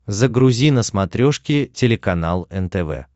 загрузи на смотрешке телеканал нтв